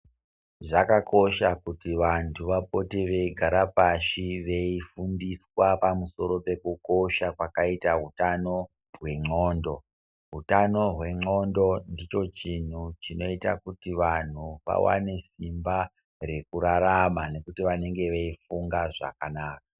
Zvakakosha kuti vantu vapote veigara pashi veifundiswa pamusoro pekukosha kwakaita utano hwendxondo. Utano hwendxondo ndicho chinhu chinoita kuti vanhu vawane simba rekurarama nekuti vanenge veifunga zvakanaka.